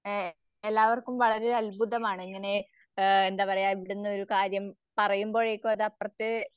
ആഹ് എല്ലാവർക്കും വളരെ അത്ഭുതമാണ് ഇങ്ങനെ ആഹ് എന്താപറയ ഇവിടുന്ന് ഒരു കാര്യം പറയുമ്പഴേക്കും അത് അപ്പുറത്തേ